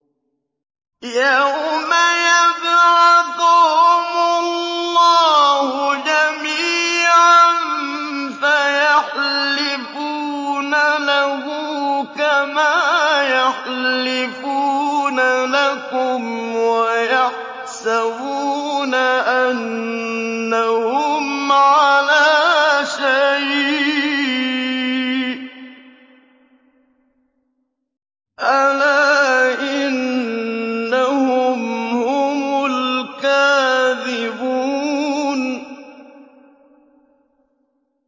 يَوْمَ يَبْعَثُهُمُ اللَّهُ جَمِيعًا فَيَحْلِفُونَ لَهُ كَمَا يَحْلِفُونَ لَكُمْ ۖ وَيَحْسَبُونَ أَنَّهُمْ عَلَىٰ شَيْءٍ ۚ أَلَا إِنَّهُمْ هُمُ الْكَاذِبُونَ